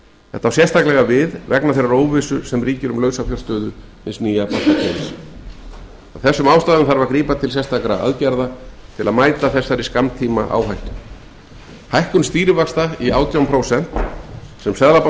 þetta á sérstaklega við vegna þeirra óvissu sem ríkir um lausafjárstöðu hins nýja bankakerfis af þessum ástæðum þarf að grípa til sérstakra aðgerða til að mæta þessari skammtímaáhættu hækkun stýrivaxta í átján prósent sem seðlabankinn kynnti